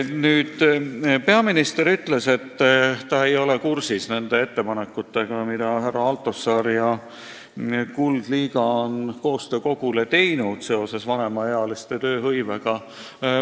Nüüd, peaminister ütles, et ta ei ole kursis ettepanekutega, mis härra Altosaar ja Kuldliiga on koostöö kogule teinud, et vanemaealiste tööhõivet parandada.